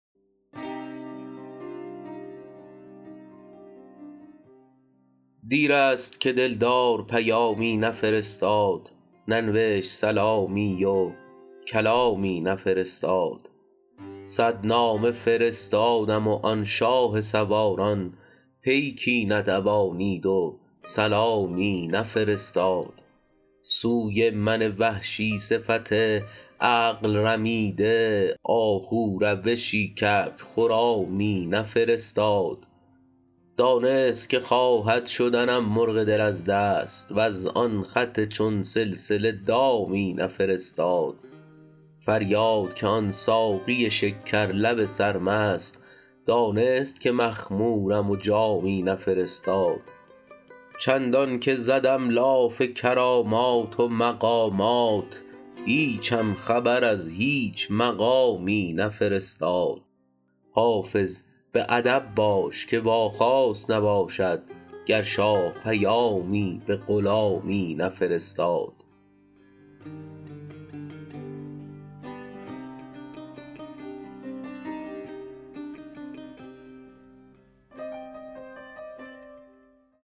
دیر است که دل دار پیامی نفرستاد ننوشت سلامی و کلامی نفرستاد صد نامه فرستادم و آن شاه سواران پیکی ندوانید و سلامی نفرستاد سوی من وحشی صفت عقل رمیده آهو روشی کبک خرامی نفرستاد دانست که خواهد شدنم مرغ دل از دست وز آن خط چون سلسله دامی نفرستاد فریاد که آن ساقی شکر لب سرمست دانست که مخمورم و جامی نفرستاد چندان که زدم لاف کرامات و مقامات هیچم خبر از هیچ مقامی نفرستاد حافظ به ادب باش که واخواست نباشد گر شاه پیامی به غلامی نفرستاد